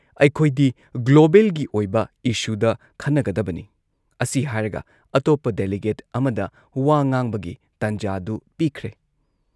ꯑꯩꯈꯣꯏꯗꯤ ꯒ꯭ꯂꯣꯕꯦꯜꯒꯤ ꯑꯣꯏꯕ ꯏꯁꯨꯗ ꯈꯟꯅꯒꯗꯕꯅꯤ" ꯑꯁꯤ ꯍꯥꯏꯔꯒ ꯑꯇꯣꯞꯄ ꯗꯦꯂꯤꯒꯦꯠ ꯑꯃꯗ ꯋꯥ ꯉꯥꯡꯕꯒꯤ ꯇꯟꯖꯥꯗꯨ ꯄꯤꯈ꯭ꯔꯦ ꯫